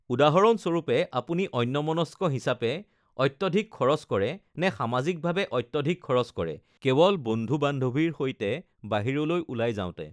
উদাহৰণস্বৰূপে, আপুনি অন্যমনস্ক হিচাপে অত্যধিক খৰচ কৰে, নে সামাজিকভাৱে অত্যধিক খৰচ কৰে (কেৱল বন্ধু-বান্ধৱীৰ সৈতে বাহিৰলৈ ওলাই যাওঁতে)?